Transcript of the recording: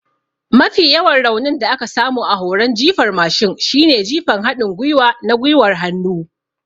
Mafi yawan raunin da aka samu a horon jifar mashin shine jifan haɗin gwiwa na gwiwar hannu.